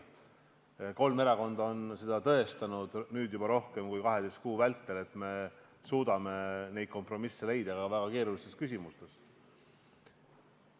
Kolm erakonda on tõestanud – nüüd juba rohkem kui 12 kuu vältel –, et me suudame leida kompromisse ka väga keerulistes küsimustes.